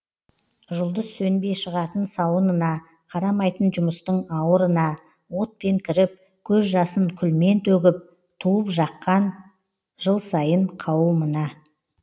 жұлдыз сөнбей шығатын сауынына қарамайтын жұмыстың ауырына отпен кіріп көз жасын күлмен төгіп туып жаққан жыл сайын қауымына